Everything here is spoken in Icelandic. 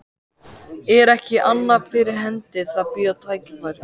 Er ekki annað fyrir hendi en að bíða tækifæris.